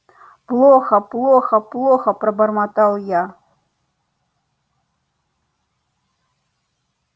плохо-плохо-плохо пробормотал я